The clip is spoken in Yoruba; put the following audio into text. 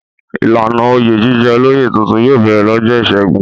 Ìlànà oyè jíjẹ olóyè tuntun yóò bẹ̀rẹ̀ lọ́jọ́ ìṣẹ́gun.